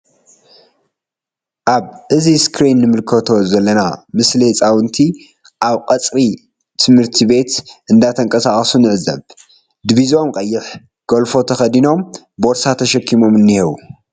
እብ እዚ እስክሪን ንምልከቶ ዘለና ምስሊ ሕጻውንቲ ኣብ ቀጽሪ ትምህርቲ ቤት እንዳ ተንቀሳቀሱ ንዕዘብ ዲቢዝኦም ቀይሕ ጎልፎ ተከዲኖም ቦርሳ ተሸኪሞም እንሂዉ።